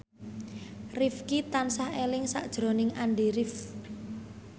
Rifqi tansah eling sakjroning Andy rif